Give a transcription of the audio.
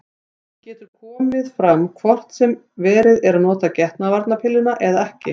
Hún getur komið fram hvort sem verið er að nota getnaðarvarnarpilluna eða ekki.